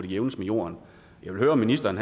jævnes med jorden jeg vil høre om ministeren